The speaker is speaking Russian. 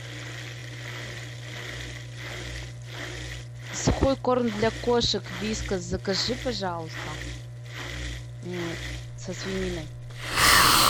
сухой корм для кошек вискас закажи пожалуйста со свининой